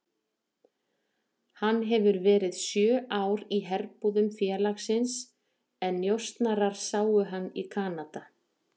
Hann hefur verið sjö ár í herbúðum félagsins en njósnarar sáu hann í Kanada.